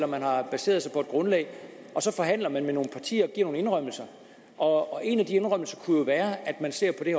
man har baseret sig på grundlag men så forhandler man med nogle partier og giver nogle indrømmelser og en af de indrømmelser kunne jo være at man ser på det